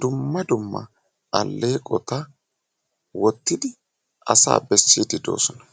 dumma dumma alleeqota wottidi asaa bessiiddi doosona.